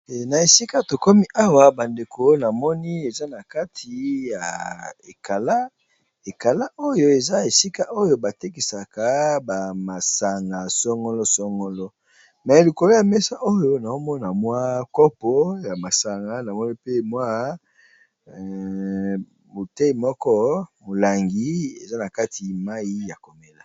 Na ésika tokomi awa ba ndeko namoni eza na kati ya ékala . Ékala oyo eza ésika oyo batékisaka ba masanga songolo songolo mais likolo ya méssa oyo nazomona mwa kopo ya masanga namoni pe mwa bouteille moko molangi eza nakati mayi ya komela.